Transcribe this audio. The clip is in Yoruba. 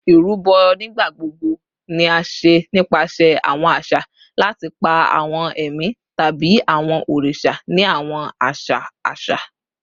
Irubo nigbagbogbo ni a ṣe nipasẹ awọn aṣa lati pa awọn ẹmi tabi awọn oriṣa ni awọn aṣa aṣa